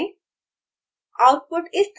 enter दबाएँ